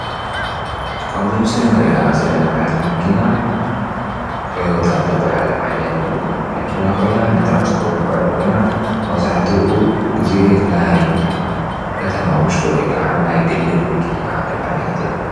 ኣብዚ ምስሊ እንሪኣ ዘለና ዓይነት መኪና ቶዮታ ትብሃል ዓይነት መኪና ኮይና ንትራንስፖርት ትዉዕል ኮይና መብዛሕቲኡ ግዜ ናይ ከተማ ዉሽጢ ወይ ከዓ ናይ ግሊ መኪና እንብላ ዓይነት እያ፡፡